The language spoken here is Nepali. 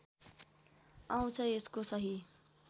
आउँछ यसको सही